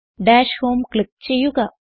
dash home click ചെയ്യുക